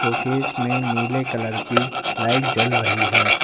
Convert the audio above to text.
Case में नीले colour की लाइट जल रही है।